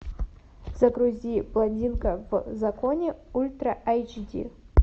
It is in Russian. загрузи блондинка в законе ультра айч ди